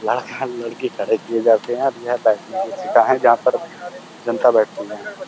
लड़का-लड़की खड़े किये जाते हैं और यह बैठने की सीटा है जहाँ पर जनता बैठती हैं।